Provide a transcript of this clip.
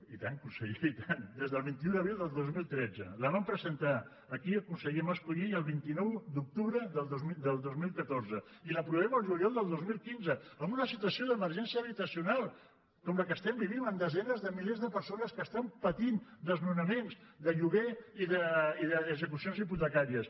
i tant conseller i tant des del vint un d’abril del dos mil tretze la va presentar aquí el conseller mascolell el vint nou d’octubre del dos mil catorze i l’aprovem al juliol del dos mil quinze en una situació d’emergència habitacional com la que estem vivint amb desenes de milers de persones que estan patint desnonaments de lloguer i d’execucions hipotecàries